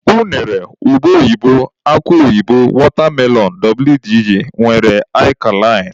Unere, ube oyibo, akụ oyibo, watermelon wdg nwere akalain.